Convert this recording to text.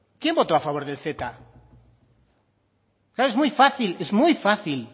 quién votó a favor del ceta claro es muy fácil es muy fácil